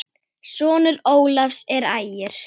Sonur Ólafs er Ægir.